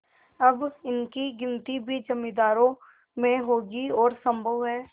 अब इनकी गिनती भी जमींदारों में होगी और सम्भव है